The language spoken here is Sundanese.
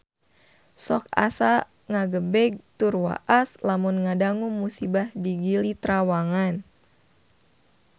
Sok asa ngagebeg tur waas lamun ngadangu musibah di Gili Trawangan